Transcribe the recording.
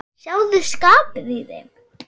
Sjáðu skapið í þeim.